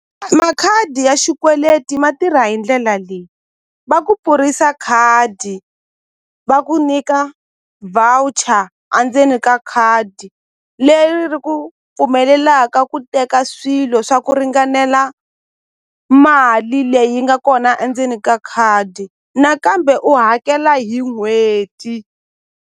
Makhadi ya xikweleti ma tirha hi ndlela leyi va ku pfurisa khadi va ku nyika voucher a ndzeni ka khadi leri ri ku pfumelelaka ku teka swilo swa ku ringanela mali leyi nga kona endzeni ka khadi nakambe u hakela hi n'hweti.